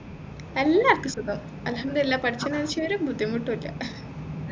എല്ലാവർക്കും സുഖം അല്ഹമ്ദുലില്ല പടച്ചോൻ ഒരു ബുദ്ധിമുട്ടും ഇല്ല